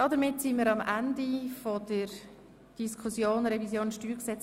Damit sind wir am Ende der ersten Lesung zur Revision des StG.